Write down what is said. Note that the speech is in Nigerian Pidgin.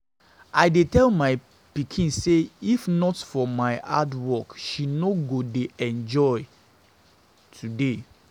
I dey tell my pikin say if not for my hard work she no go dey enjoy today